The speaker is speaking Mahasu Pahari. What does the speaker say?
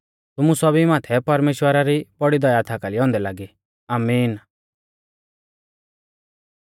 तुमु सौभी माथै परमेश्‍वरा री बौड़ी दया थाकाली औन्दै लागी आमीन